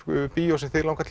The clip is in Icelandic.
bíó sem þig langar